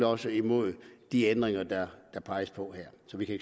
også imod de ændringer der peges på her